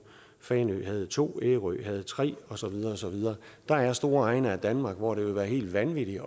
fanø havde to ærø havde tre og så videre og så videre der er store egne af danmark hvor det vil være helt vanvittigt at